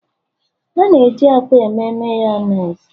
A na-eji akwa eme Mayonezi